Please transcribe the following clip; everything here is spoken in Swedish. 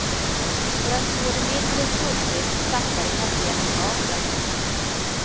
För att få det mindre skumpigt saktade kaptenen farten.